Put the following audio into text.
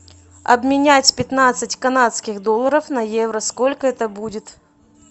обменять пятнадцать канадских долларов на евро сколько это будет